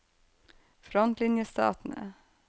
frontlinjestatene